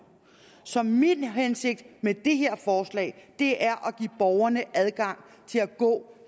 så min hensigt med det her forslag er at give borgerne adgang til at gå